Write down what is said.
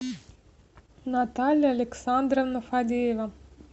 наталья александровна фадеева